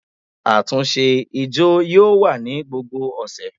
Àtúnṣe ijó yóò wa ni gbógbó ọsẹ